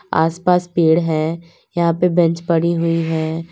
आसपास पेड़ है यहां पे बेंच पड़ी हुई हैं।